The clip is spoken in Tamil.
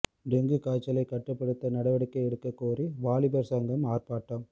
டெங்கு காய்ச்சலை கட்டுப்படுத்த நடவடிக்கை எடுக்க கோரி வாலிபர் சங்கம் ஆர்ப்பாட்டம்